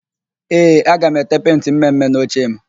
Ee, aga m ete pentị mme mme n'ochem